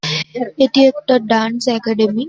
এটি একটা dance academy